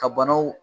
Ka banaw